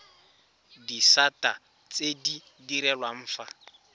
disata tse di direlwang fa